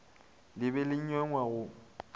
le be le nweng go